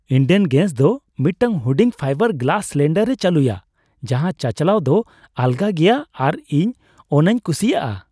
Indane gas ᱫᱚ ᱢᱤᱫᱴᱟᱝ ᱦᱩᱰᱤᱧ ᱯᱷᱟᱭᱵᱟᱨ ᱜᱞᱟᱥ ᱥᱤᱞᱤᱱᱰᱟᱨᱮ ᱪᱟᱹᱞᱩᱭᱟ ᱡᱟᱦᱟᱸ ᱪᱟᱪᱟᱞᱟᱣ ᱫᱚ ᱟᱞᱜᱟ ᱜᱮᱭᱟ ᱟᱨ ᱤᱧ ᱚᱱᱟᱧ ᱠᱩᱥᱤᱭᱟᱜᱼᱟ ᱾